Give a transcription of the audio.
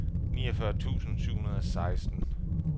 niogfyrre tusind syv hundrede og seksten